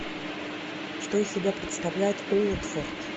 что из себя представляет уотфорд